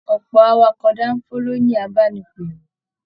Ọpọ awakọ̀ danfo lo ni abánipèrò.